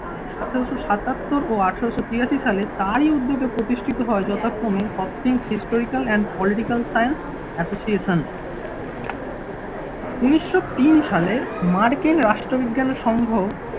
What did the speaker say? আঠেরোশো সাতাত্তর ও আঠেরোশো তিরাশি সাল তারই উদ্যোগে প্রতিষ্ঠিত হয় যথাক্রমে hastings historical and political science associations উন্নিশশো তিন সালে মার্কেল রাষ্ট্রবিজ্ঞানের সংঘ